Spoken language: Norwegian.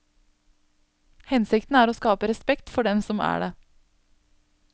Hensikten er å skape respekt for dem som er det.